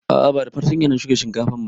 A'a ba da fartanya na shuka shinkafan ba